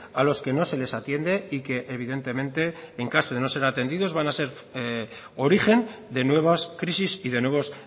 a los que no se les atiende y que evidentemente en caso de no ser atendidos van a ser origen de nuevas crisis y de nuevos